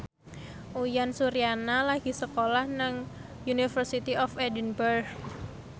Uyan Suryana lagi sekolah nang University of Edinburgh